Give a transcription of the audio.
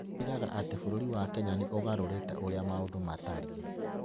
Oigaga atĩ bũrũri wa Kenya nĩ ũgarũrĩte ũrĩa maũndũ matariĩ.